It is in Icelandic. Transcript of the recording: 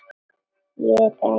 Ég er einn.